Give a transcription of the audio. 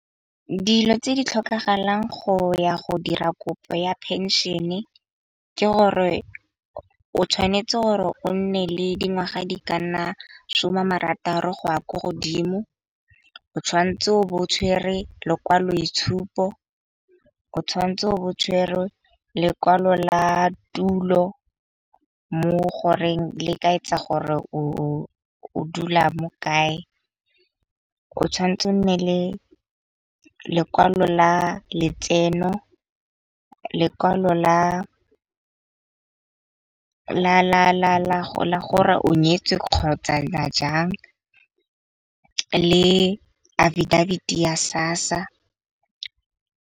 Dilo tse di tlhokagalang go ya go dira kopo ya phenšene, ke gore o tshwanetse gore o nne le dingwaga di ka nna shoma marataro go ya ko godimo. O tshwanetse o bo o tshwerwe lokwaloboitshupo o tshwantse o bo o tshwerwe lekwalo la tulo mo goreng le ka etsa gore o dula mo kae. O tshwanetse o nne le lekwalo la letseno, lekwalo la gore o nyetswe kgotsa la jang le Affidavit-e ya SASSA.